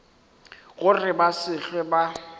gore ba se hlwe ba